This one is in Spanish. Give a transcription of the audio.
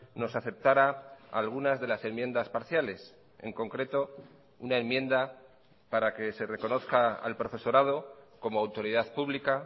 nos aceptara algunas de las enmiendas parciales en concreto una enmienda para que se reconozca al profesorado como autoridad pública